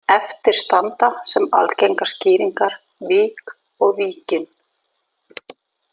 Eftir standa sem algengar skýringar vík og Víkin.